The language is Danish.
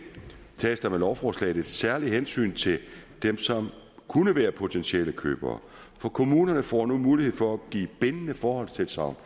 tages der med lovforslaget et særligt hensyn til dem som kunne være potentielle købere for kommunerne får nu mulighed for at give bindende forhåndstilsagn